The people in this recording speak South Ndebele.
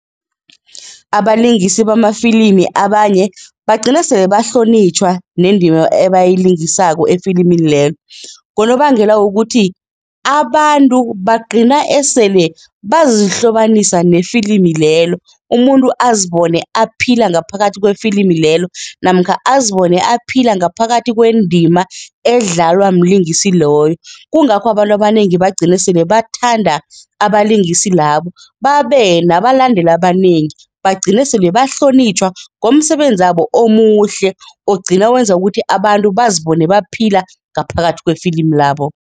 Abalingisi bamafilimi abanye bagcina sele bahlonitjhwa nendima ebayilingisako efilimini lelo ngonobangela wokuthi abantu bagcina esele bazihlobanisa nefilimi lelo umuntu azibone aphila ngaphakathi kwefilimi lelo namkha azibone aphila ngaphakathi kwendima edlalwa mlingisi loyo. Kungakho abantu abanengi bagcine sele bathanda abalingisi labo, babe nabalandeli abanengi, bagcine sele bahlonitjhwa ngomsebenzabo omuhle ogcina wenza ukuthi abantu bazibone baphila ngaphakathi wefilimu labo.